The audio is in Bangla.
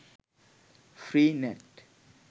free net